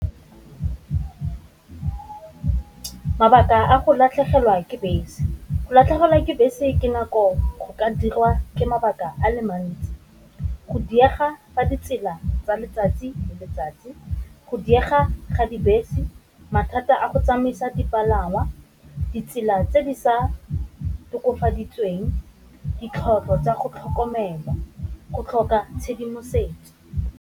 Mabaka a go latlhegelwa ke bese, go latlhegelwa ke bese ke nako go ka dirwa ke mabaka a le mantsi go diega ba ditsela tsa letsatsi le letsatsi, go diega ga dibese, mathata a go tsamaisa dipalangwa, ditsela tse di sa tokafaditsweng, ditlhoko tsa go tlhokomela, go tlhoka tshedimosetso.